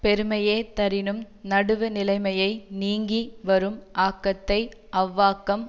பெருமையே தரினும் நடுவுநிலைமையை நீங்கி வரும் ஆக்கத்தை அவ்வாக்கம்